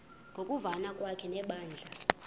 ngokuvana kwakhe nebandla